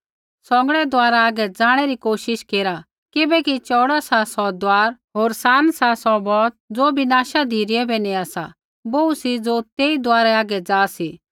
सौंगड़ै दुआरै हागै ज़ाणै री कोशिश केरा किबैकि चौऊड़ा सा सौ दुआर होर सान सा सौ बौत ज़ो विनाशा धिरै बै नेआ सा बोहू सी ज़ो तेई दुआरै हागै ज़ा सी